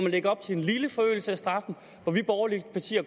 lægger op til en lille forøgelse af straffen men vi borgerlige partier